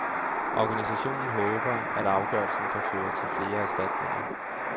Organisationen håber, at afgørelsen kan føre til flere erstatninger.